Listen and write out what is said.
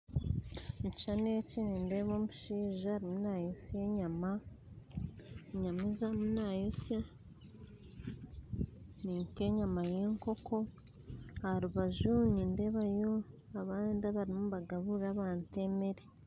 Omukishushani eki nindeeba omushaija arumu nayotsya enyama, enyama ezarumu nayotsya ninka enyama y'enkoko aharubaju nindebayo abandi abariyo nibagaburra abantu emere.